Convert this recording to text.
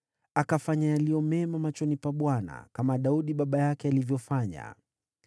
Akafanya yaliyo mema machoni pa Bwana , kama Daudi baba yake alivyofanya.